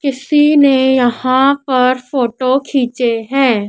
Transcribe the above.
किसी ने यहां पर फोटो खींचे हैं।